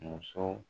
Muso